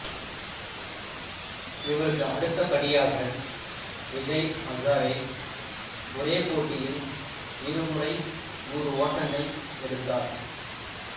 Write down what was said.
இவருக்கு அடுத்த படியாக விஜய் அசாரே ஒரே போட்டியில் இரு முறை நூறு ஓட்டங்கள் எடுத்தார்